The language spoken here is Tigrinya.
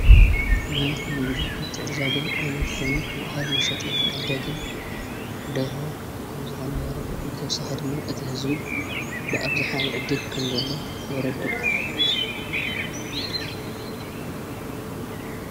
ናይ ንግዱ ምትዕድዳግን ዓይነት ኮኑ ማእኸል መሸጢ መዕደግን ደርሁ ከም ዝኾና ይረድእብተውሳድማ እቲ ሕዙይ ብኣፍዝኃ ይዕድግ ከም ዘለ የረድእ